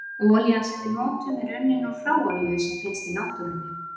Olían sem við notum er unnin úr hráolíu sem finnst í náttúrunni.